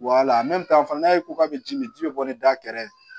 fana n'a ye k'a bɛ ji min ji bɛ bɔ ni da kɛrɛ